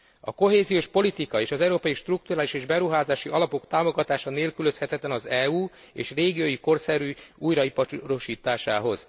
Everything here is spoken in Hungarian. A kohéziós politika és az európai strukturális és beruházási alapok támogatása nélkülözhetetlen az EU és régiói korszerű újraiparosításához.